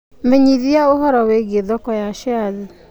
menyithia ũhoro wĩgiĩ thoko ya shares